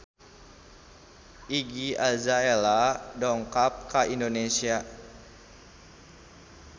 Iggy Azalea dongkap ka Indonesia